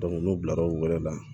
n'u bilara o wɛrɛ la